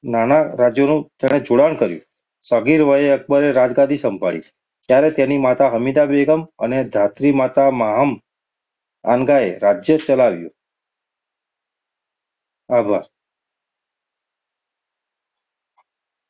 નાનાં રાજ્યોનું તેણે જોડાણ સગીર વયે અક્બરે રાજગાદી સંભાળી, ત્યારે તેની માતા હમીદાબેગમ અને ધાત્રીમાતા માહમ આનગાએ રાજ્ય ચલાવ્યું. આભાર.